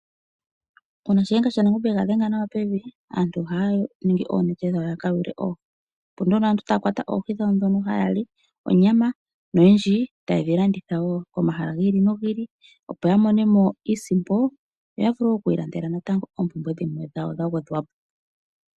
Una shiyenga shaNangombe yega dhenga naw pevi aantu oha ningi nawa oonete dhawo yaka yule oohi. Opo nduno aantu taya kwata oohi dhawo dhono haya li onyama. Noyendji taye dhi landitha woo pomahala giili nogiili opo yi imonene mo iisimpo. Yoya vule oku ilandela oompumbwe dhawo dhimwe dha gwedhwapo.